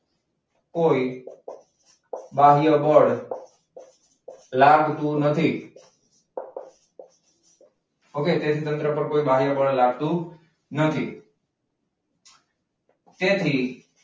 કોઈ બાહ્ય બળ લાગતું નથી. okay તંત્ર કોઈ બાહ્ય બળ લાગતું નથી. જેથી